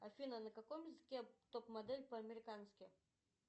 афина на каком языке топ модель по американски